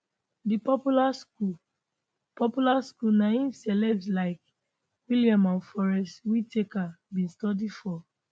di popular school popular school na im celebs like william and forest whitaker bin study for